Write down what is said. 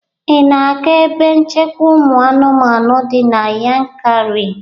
Ị na-aga ebe nchekwa ụmụ anụmanụ di na Yankari?